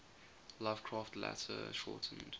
lovecraft later shortened